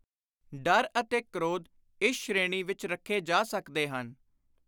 ਡਰ ਅਤੇ ਕ੍ਰੋਧ ਇਸ ਸ਼੍ਰੇਣੀ ਵਿਚ ਰੱਖੇ ਜਾ ਸਕਦੇ ਹਨ।